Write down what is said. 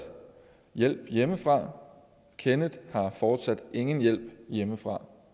hjælp hjemmefra kenneth har fortsat ingen hjælp hjemmefra